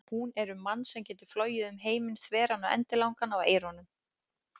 Hún er um mann sem getur flogið um heiminn þveran og endilangan á eyrunum.